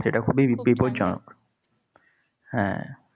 সেটা খুবই বিপজ্জনক। হ্যাঁ।